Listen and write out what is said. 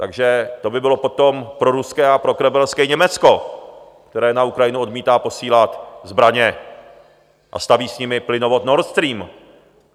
Takže to by bylo potom proruské a prokremelské Německo, které na Ukrajinu odmítá posílat zbraně a staví s nimi plynovod Nord Stream.